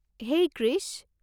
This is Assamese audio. হেই কৃষ!